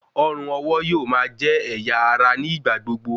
Ọrùn-ọwọ̀ yóò máa jẹ́ ẹ̀yà ara ní ìgbà gbogbo